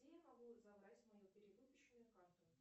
где я могу забрать свою перевыпущенную карту